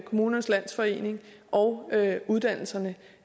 kommunernes landsforening og uddannelserne